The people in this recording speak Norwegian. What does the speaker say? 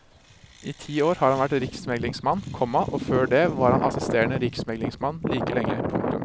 I ti år har han vært riksmeglingsmann, komma og før det var han assisterende riksmeglingsmann like lenge. punktum